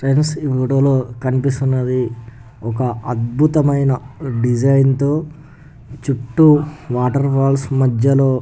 friends ఈ video లో కనిపిస్తున్నది ఒక అద్భుతమైన డిసైన్ తో చుట్టూ వాటర్ ఫాల్స్ మద్యలో --